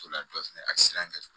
O la dɔ fɛnɛ a sirannen do